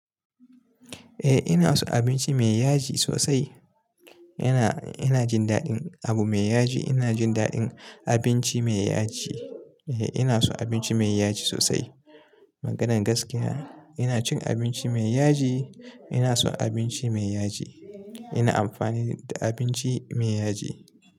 Eh ina so abinci mai yaji sosai. Ina, ina jin daɗin abu mai yaji. Ina jin daɗin abinci mai yaji. Eh ina so abinci mai yaji sosai. Maganan gaskiya ina cin abinci mai yaji. Ina son abinci mai yaji. Ina amfani da abinci mai yaji.